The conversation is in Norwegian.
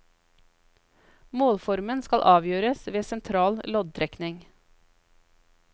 Målformen skal avgjøres ved sentral loddtrekning.